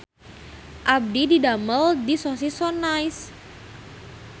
Abdi didamel di Sosis So Nice